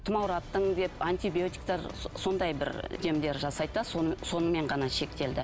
тұмаураттым деп антибиотиктер сондай бір демдер жасайды да сонымен ғана шектелді